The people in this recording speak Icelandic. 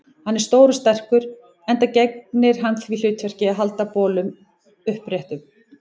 Hann er stór og sterkur, enda gegnir hann því hlutverki að halda bolnum uppréttum.